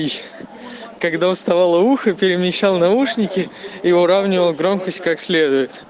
когда уставала ухо перемещал наушники и выравнивал громкость как